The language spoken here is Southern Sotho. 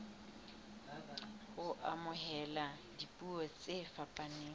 ho amohela dipuo tse fapaneng